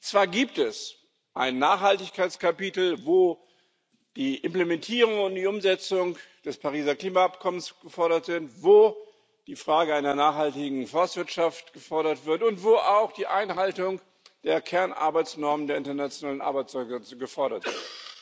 Zwar gibt es ein Nachhaltigkeitskapitel, wo die Implementierung und die Umsetzung des Pariser Klimaabkommens gefordert werden, wo eine nachhaltige Forstwirtschaft gefordert wird und wo auch die Einhaltung der Kernarbeitsnormen der Internationalen Arbeitsorganisation gefordert wird.